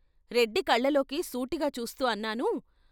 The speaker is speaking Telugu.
రెడ్డి కళ్ళల్లోకి సూటిగా చూస్తూ అన్నాను.